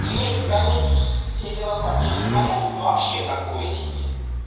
иметь границу с североатлантическим альянсом вообще такое себе